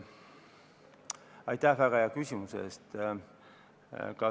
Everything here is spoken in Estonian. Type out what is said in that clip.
Aitäh väga hea küsimuse eest!